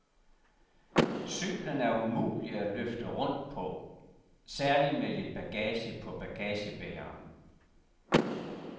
Cyklen er umulig at løfte rundt på, særlig med lidt bagage på bagagebæreren.